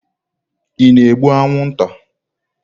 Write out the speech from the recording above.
Ị na-egbu anwụnta?